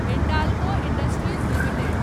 Hindalco industries limited